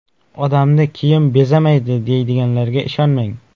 Odamni kiyim bezamaydi, deydiganlarga ishonmang.